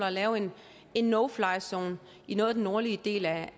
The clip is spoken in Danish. at lave en no fly zone i noget af den nordlige del af